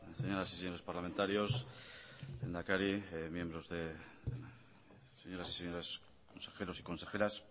señoras y señores parlamentarios lehendakari miembros de señoras y señores consejeros y consejeras